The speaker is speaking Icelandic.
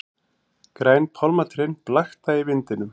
Græn pálmatrén blakta í vindinum.